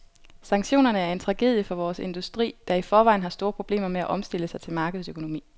Sanktionerne er en tragedie for vores industri, der i forvejen har store problemer med at omstille sig til markedsøkonomi.